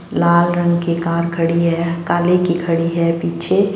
लाल रंग की कार खड़ी है काली की खड़ी है पीछे।